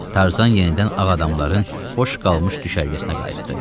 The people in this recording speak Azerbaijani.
Tarzan yenidən ağ adamların boş qalmış düşərgəsinə qayıtdı.